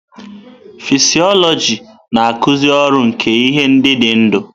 Fịsiọlojị na-akụzi ọrụ nke ihe ndị dị ndụ.